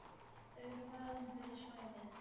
Þau eru valin fyrir svæðið.